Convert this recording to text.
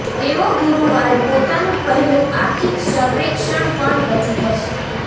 તેઓ ગુરુવારે પોતાનું પહેલું આર્થિક સર્વેક્ષણ પણ રજૂ કરશે